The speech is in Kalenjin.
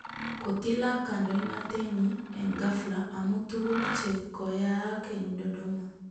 Kotilak kandoinatet nyii eng ghafla amu tuguuk che koyaak eng Dodoma